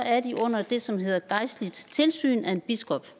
er de under det som hedder gejstligt tilsyn af en biskop